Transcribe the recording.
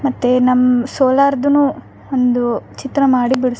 ಮತ್ತೆ ನಮ್ ಸೋಲಾರ್ದುನು ಒಂದು ಚಿತ್ರ ಮಾಡಿ ಬಿಡ್ಸ್ --